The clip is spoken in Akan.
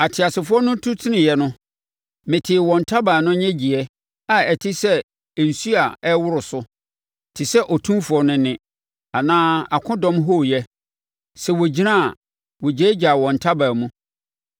Ateasefoɔ no tu teneeɛ no, metee wɔn ntaban no nnyegyeɛ, a ɛte sɛ nsuo a ɛreworo so, te sɛ Otumfoɔ no nne, anaa akodɔm hooyɛ. Sɛ wɔgyina a, wɔgyaagyaa wɔn ntaban mu.